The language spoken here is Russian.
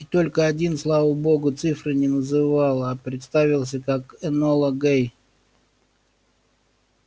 и только один слава богу цифры не называл а представился как энола гей